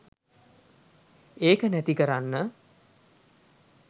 එක නැති කරන්න